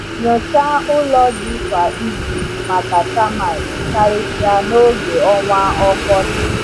Nyochaa ụlọ ji kwa izu maka termite, karịsịa n’oge ọnwa ọkọchị.